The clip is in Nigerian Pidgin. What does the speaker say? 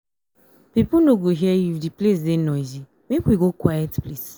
pipo no go hear you if di place dey noisy make we go quiet place.